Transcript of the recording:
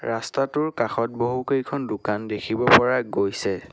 ৰাস্তাটোৰ কাষত বহু কেইখন দোকান দেখিব পৰা গৈছে।